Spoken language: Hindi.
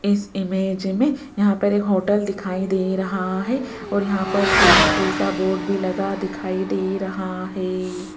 इस इमेज में यहां पर एक होटल दिखाई दे रहा है और यहां पर स्विमिंग पूल का बोर्ड भी लगा दिखाई दे रहा है।